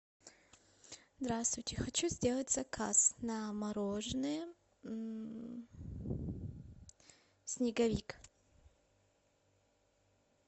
здравствуйте хочу сделать заказ на мороженое снеговик